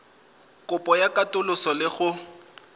kopo ya katoloso le go